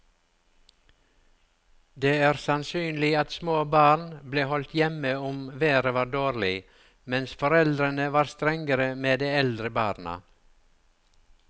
Det er sannsynlig at små barn ble holdt hjemme om været var dårlig, mens foreldrene var strengere med de eldre barna.